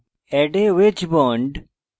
add a wedge bond